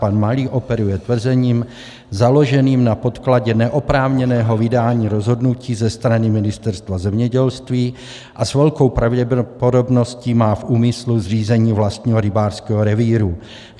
Pan Malý operuje tvrzením založeným na podkladě neoprávněného vydání rozhodnutí ze strany Ministerstva zemědělství a s velkou pravděpodobností má v úmyslu zřízení vlastního rybářského revíru.